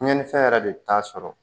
Tiɲɛnifɛn yɛrɛ de t'a sɔrɔ